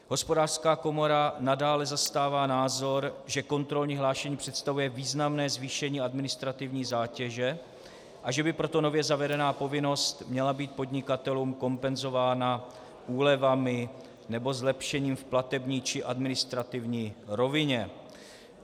Hospodářská komora nadále zastává názor, že kontrolní hlášení představuje významné zvýšení administrativní zátěže, a že by proto nově zavedená povinnost měla být podnikatelům kompenzována úlevami nebo zlepšením v platební či administrativní rovině.